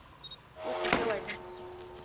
o se ke wa di